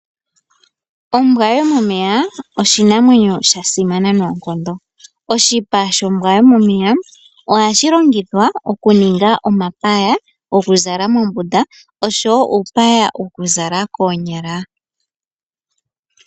Ombwa yomomeya oshinamwenyo sha simana noonkondo. Oshipa shombwa yomomeya oha shi longithwa okuninga omapaya gokuzala mombunda oshowo uupaya wokuzala koonyala.